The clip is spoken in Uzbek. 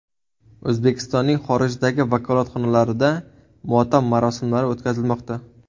O‘zbekistonning xorijdagi vakolatxonalarida motam marosimlari o‘tkazilmoqda.